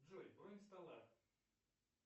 джой бронь стола